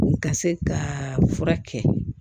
Ka se ka fura kɛ